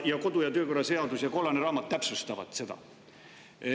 Ja kodu- ja töökorra seadus ning kollane raamat täpsustavad seda.